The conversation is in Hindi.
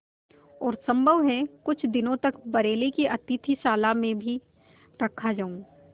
और सम्भव है कुछ दिनों तक बरेली की अतिथिशाला में भी रखा जाऊँ